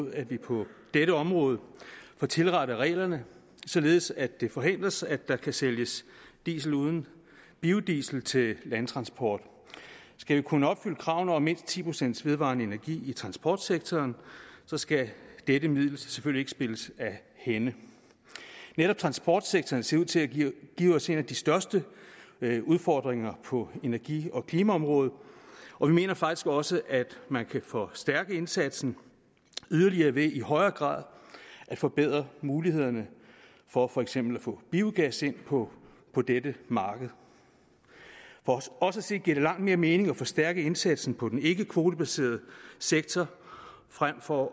mod at vi på dette område får tilrettet reglerne således at det ikke forhales at der kan sælges diesel uden biodiesel til landtransport skal vi kunne opfylde kravene om mindst ti procent vedvarende energi i transportsektoren skal dette middel selvfølgelig ikke spilles af hænde netop transportsektoren ser ud til at give os en af de største udfordringer på energi og klimaområdet og vi mener faktisk også at man kan forstærke indsatsen yderligere ved i højere grad at forbedre mulighederne for for eksempel at få biogas ind på på dette marked for os at se giver det langt mere mening at forstærke indsatsen på den ikkekvotebaserede sektor frem for